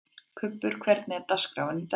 Kubbur, hvernig er dagskráin í dag?